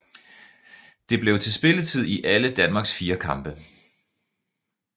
Det blev til spilletid i alle Danmarks fire kampe